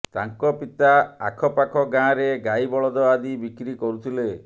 ତାଙ୍କ ପିତା ଆଖପାଖ ଗାଁରେ ଗାଈ ବଳଦ ଆଦି ବିକ୍ରି କରୁଥିଲେ